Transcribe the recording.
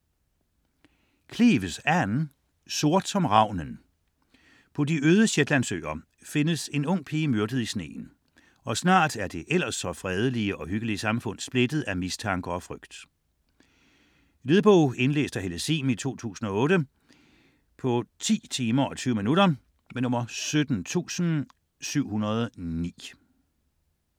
Cleeves, Ann: Sort som ravnen På de øde Shetlandsøer findes en ung pige myrdet i sneen, og snart er det ellers så fredelige og hyggelige samfund splittet af mistanker og frygt. Lydbog 17709 Indlæst af Helle Sihm, 2008. Spilletid: 10 timer, 20 minutter.